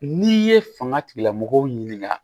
N'i ye fanga tigilamɔgɔw ɲininka